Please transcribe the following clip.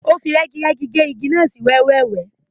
O fi rẹ́girẹ́gi ge igi náà sí wẹ́wẹ́.